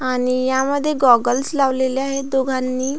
आणि यामध्ये गॉगल्स लावलेले आहेत दोघांनी.